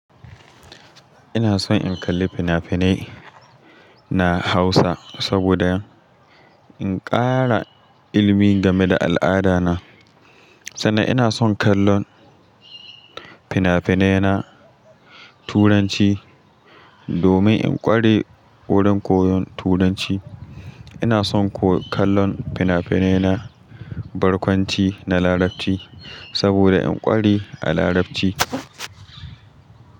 Ina son in kalli fina-finai na Hausa saboda in ƙara ilmi game da al'ada na. Sannan ina son kallon fina-finai na Turanci domin in ƙware wurin koyon Turanci. Ina son kuwa kallon fina-finai na barkwanci na Larabci saboda in ƙware a Larabci.